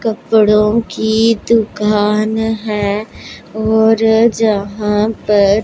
कपड़ों की दुकान हैं और जहां पर--